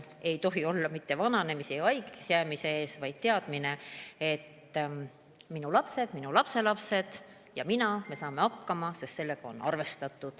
Ei tohi olla hirmu vananemise ja haigeks jäämise ees, vaid peab olema teadmine, et minu lapsed, lapselapsed ja mina, me saame hakkama, sest sellega on arvestatud.